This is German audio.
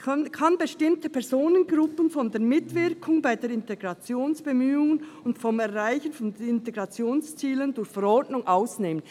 «kann bestimmte Personengruppen von der Mitwirkung bei den Integrationsbemühungen und vom Erreichen von Integrationszielen durch Verordnung ausnehmen.».